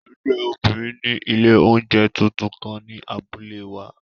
Ẹgbẹ obinrin ni ile ounjẹ tuntun kan ni abule wa.